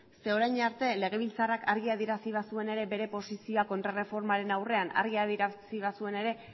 zeren orain arte legebiltzarrak argi adierazi bazuen ere bere posizioa kontrarreformaren aurrean argi adierazi bazuen ere